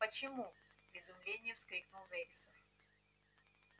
почему в изумлении вскрикнул вересов